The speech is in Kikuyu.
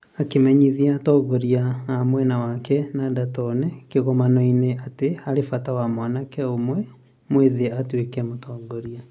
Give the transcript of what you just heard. Akĩmenyithia atongoria a mwena wake Nidaa Tounes kĩgomano-inĩ atĩ harĩ bata mwanake ũmwe mwĩthĩ atuĩke mũtongoria.